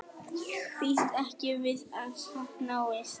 Býst ekki við að sátt náist